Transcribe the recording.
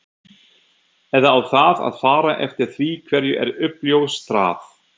Eða á það að fara eftir því hverju er uppljóstrað?